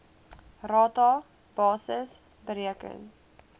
rata basis bereken